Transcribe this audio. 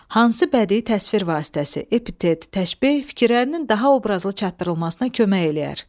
Hansı bədii təsvir vasitəsi, epitet, təşbeh fikirlərinin daha obrazlı çatdırılmasına kömək eləyər?